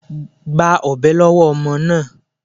Gba ọ̀bẹ lọ́wọ́ ọmọ náà.